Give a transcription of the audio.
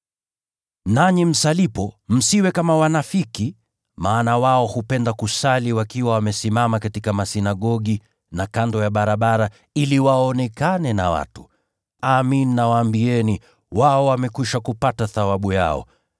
“Nanyi msalipo, msiwe kama wanafiki, maana wao hupenda kusali wakiwa wamesimama katika masinagogi na kando ya barabara ili waonekane na watu. Amin nawaambia, wao wamekwisha kupata thawabu yao.